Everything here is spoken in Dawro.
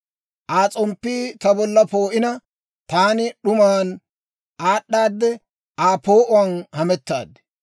Aa s'omppii ta bolla poo'ina, taani d'umaan aad'aadde Aa poo'uwaan hamettaad.